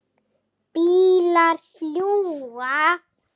Bílar fljúga.